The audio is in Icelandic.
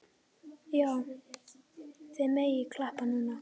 Já, þið megið klappa núna.